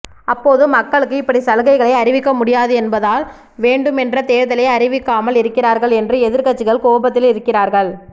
அப்போது மக்களுக்கு இப்படி சலுகைகளை அறிவிக்க முடியாது என்பதால் வேண்டுமென்றே தேர்தலை அறிவிக்காமல் இருக்கிறார்கள் என்று எதிர்க்கட்சிகள் கோபத்தில் இருக்கிறார்க்ள்